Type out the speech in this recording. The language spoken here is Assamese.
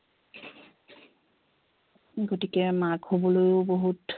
গতিকে মাক হবলৈও বহুত